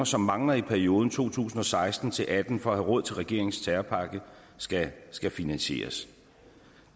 som mangler i perioden to tusind og seksten til atten for er råd til regeringens terrorpakke skal skal finansieres